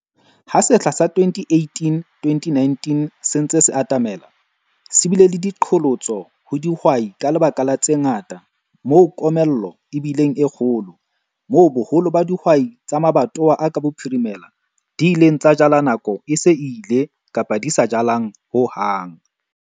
HA SEHLA SA 2018-2019 SE NTSE SE ATAMELA, SE BILE LE DIQHOLOTSO HO DIHWAI KA LEBAKA LA TSE NGATA MOO KOMELLO E BILENG E KGOLO, MOO BOHOLO BA DIHWAI TSA MABATOWA A KA BOPHIRIMELA DI ILENG TSA JALA NAKO E SE E ILE KAPA DI SA JALANG HO HANG.